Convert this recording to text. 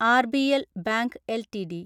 RBL bank LTD